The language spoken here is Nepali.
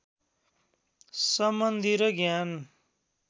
सम्बन्धि र ज्ञान